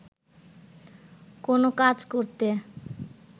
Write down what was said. কোন কাজ করতে